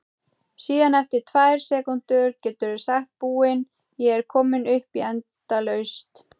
Síðan eftir tvær sekúndur geturðu sagt Búin, ég er komin upp í endalaust!